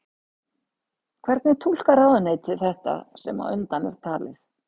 Hvernig túlkar ráðuneytið þetta sem á undan er talið?